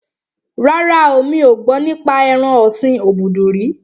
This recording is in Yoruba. Rárá, mi ò gbọ́ nípa ẹran ọ̀sin obudu rí